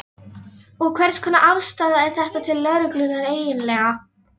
Og hvers konar afstaða er þetta til lögreglunnar eiginlega?